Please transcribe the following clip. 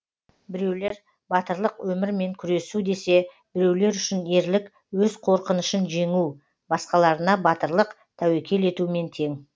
біреулер батырлық өмірмен күресу десе біреулер үшін ерлік өз қорқынышын жеңу басқаларына батырлық тәуекел етумен тең